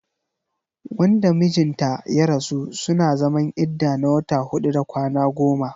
Wanda mijin ta ya rasu suna zaman idda na wata huɗu da kwana goma.